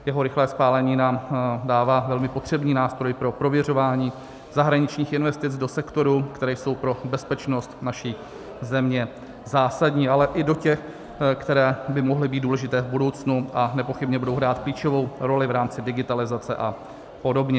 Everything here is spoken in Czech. Jeho rychlé schválení nám dává velmi potřebný nástroj pro prověřování zahraničních investic do sektorů, které jsou pro bezpečnost naší země zásadní, ale i do těch, které by mohly být důležité v budoucnu a nepochybně budou hrát klíčovou roli v rámci digitalizace a podobně.